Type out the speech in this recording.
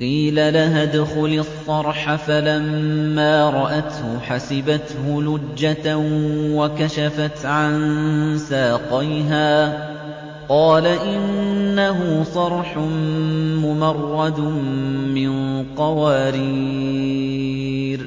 قِيلَ لَهَا ادْخُلِي الصَّرْحَ ۖ فَلَمَّا رَأَتْهُ حَسِبَتْهُ لُجَّةً وَكَشَفَتْ عَن سَاقَيْهَا ۚ قَالَ إِنَّهُ صَرْحٌ مُّمَرَّدٌ مِّن قَوَارِيرَ ۗ